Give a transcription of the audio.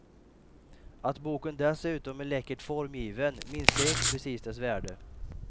Att boken dessutom är läckert formgiven minskar inte precis dess värde.